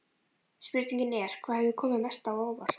Spurningin er: Hvað hefur komið mest á óvart?